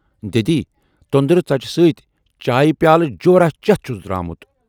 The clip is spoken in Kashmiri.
دٮ۪دی، تۅندرِ ژۅچہِ سۭتۍ چایہِ پیالہٕ جوراہ چٮ۪تھ چھُس درامُت